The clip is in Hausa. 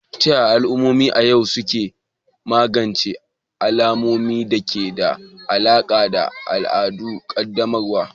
Ta yaya al'ummomi a yau suke magance alamomi da ke da alaƙa da al'adun ƙaddamarwa?